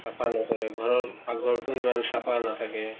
চাফা নকৰে, ঘৰৰ পাক্ঘৰটো ইমান চাফা নাথাকে।